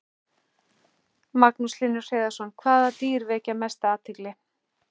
Magnús Hlynur Hreiðarsson: Hvaða dýr vekja mesta athygli?